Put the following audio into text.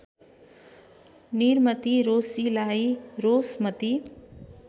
निरमती रोशीलाई रोषमती